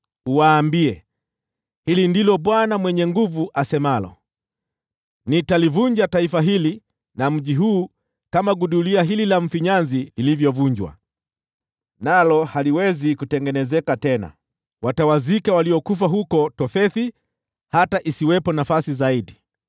uwaambie, ‘Hili ndilo Bwana Mwenye Nguvu Zote asemalo: Nitalivunja taifa hili na mji huu kama gudulia hili la mfinyanzi lilivyovunjwa, nalo haliwezi kutengenezeka tena. Watawazika waliokufa huko Tofethi hata isiwepo nafasi zaidi.